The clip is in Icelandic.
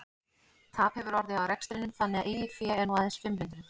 Tap hefur orðið á rekstrinum þannig að eigið fé er nú aðeins fimm hundruð.